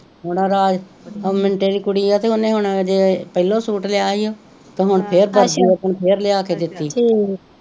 ਉਹ ਮਿੰਟੇ ਦੀ ਕੁੜੀ ਆ ਤੇ ਉਹਨੇ ਹੁਣ ਹਜੇ ਪਹਿਲੋ ਸੂਟ ਲਿਆ ਈ ਓ ਤੇ ਹੁਣ ਫੇਰ